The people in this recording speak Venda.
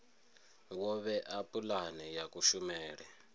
wo vhea pulane ya kushumele